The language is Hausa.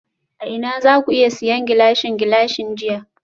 A ina zaku iya siyan Gilashin Gilashin jiya?